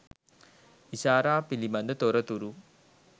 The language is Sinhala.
ඉෂාරා පිළිබඳ තොරතුරු